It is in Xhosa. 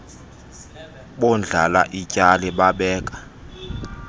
bondlala ityali babeka